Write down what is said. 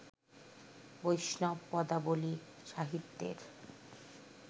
বৈষ্ণব পদাবলী সাহিত্যের